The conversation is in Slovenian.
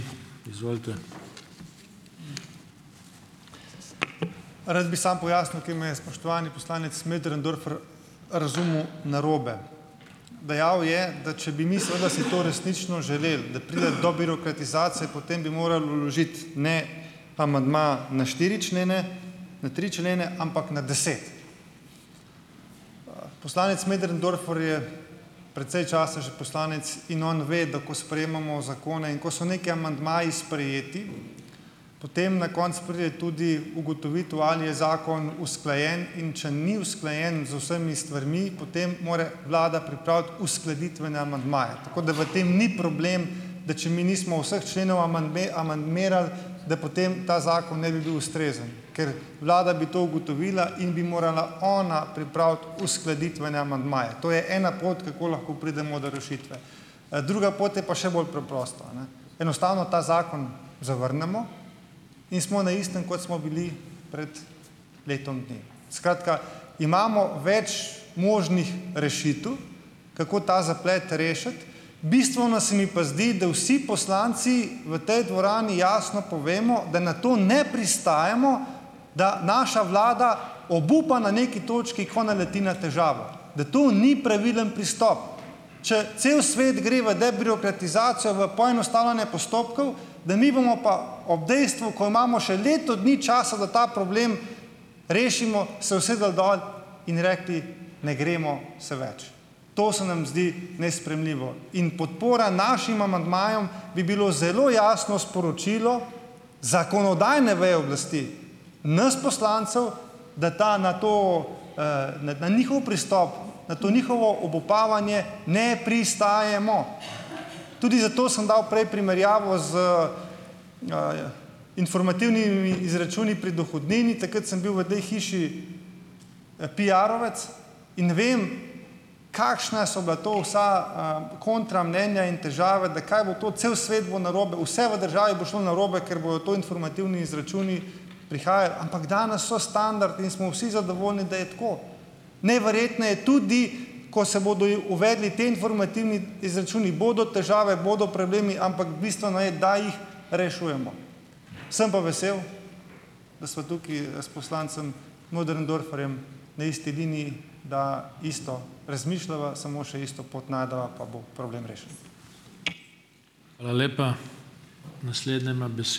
Rad bi samo pojasnil, ker me je spoštovani poslanec Möderndorfer razumel narobe. Dejal je, da če bi mi seveda si to resnično želeli, da pride do birokratizacije, potem bi morali vložiti, ne amandma na štiri člene, na tri člene, ampak na deset. Poslanec Möderndorfer je precej časa že poslanec in on ve, da ko sprejemamo zakone in ko so neki amandmaji sprejeti, potem na koncu pride tudi ugotovitev, ali je zakon usklajen, in če ni usklajen z vsemi stvarmi, potem more Vlada pripraviti uskladitvene amandmaje. Tako da v tem ni problem, da če mi nismo vseh členov amandmirali, da potem ta zakon ne bi bil ustrezen, ker Vlada bi to ugotovila in bi morala ona pripraviti uskladitvene amandmaje. To je ena pot, kako lahko pridemo do rešitve. Druga pot je pa še bolj preprosta, a ne. Enostavno ta zakon zavrnemo in smo na istem, kot smo bili pred letom dni. Skratka, imamo več možnih rešitev, kako ta zaplet rešiti. Bistveno se mi pa zdi, da vsi poslanci v tej dvorani jasno povemo, da na to ne pristajamo, da naša vlada obupa na neki točki, ko naleti na težavo. Da to ni pravilen pristop. Če cel svet gre v debirokratizacijo, v poenostavljanje postopkov, da mi bomo pa ob dejstvu, ko imamo še leto dni časa, da ta problem rešimo, se usedejo dol in rekli: ne gremo se več. To se nam zdi nesprejemljivo in podpora našim amandmajem bi bilo zelo jasno sporočilo zakonodajne veje oblasti, nas poslancev, da ta na to, na njihov pristop, na to njihovo obupavanje, ne pristajamo. Tudi zato sem dal prej primerjavo z informativnimi izračuni pri dohodnini. Takrat sem bil v tej hiši piarovec in vem, kakšna so bila to vsa kontra mnenja in težave, da kaj bo to, cel svet bo narobe, vse v državi bo šlo narobe, ker bodo to informativni izračuni prihajali, ampak danes so standardi in smo vsi zadovoljni, da je tako. Najverjetneje tudi, ko se bodo uvedli ti informativni izračuni bodo težave, bodo problemi, ampak bistveno je, da jih rešujemo. Sem pa vesel, da sva tukaj s poslancem Möderndorferjem na isti liniji, da isto razmišljava, samo še isto pot najdeva, pa bo problem rešen.